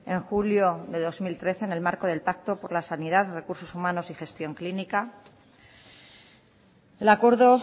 en julio de dos mil trece en el marco del pacto por la sanidad recursos humanos y gestión clínica el acuerdo